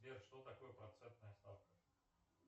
сбер что такое процентная ставка